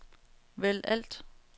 vælg alt